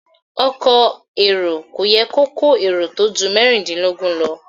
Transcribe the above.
Ọkọ̀ èrò kò yẹ kó kó èrò tó ju méjìdínlógún lọ.